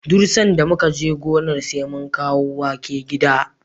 Duk sanda muka je gona, sai mun kawo wake gida.